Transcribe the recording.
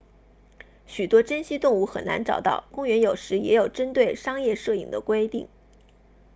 许多珍稀动物很难找到公园有时也有针对商业摄影的规定